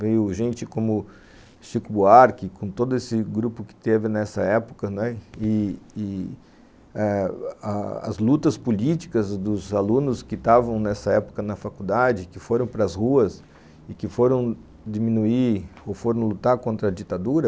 Veio gente como Chico Buarque, com todo esse grupo que teve nessa época, não é, e e eh as lutas políticas dos alunos que estavam nessa época na faculdade, e que foram para as ruas e que foram diminuir ou foram lutar contra a ditadura.